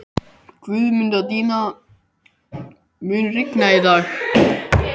Guðmundína, mun rigna í dag?